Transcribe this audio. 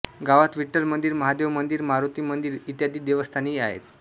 गावात विठ्ठल मंदीर महादेव मंदीर मारोती मंदीर इ देवस्थानेही आहेत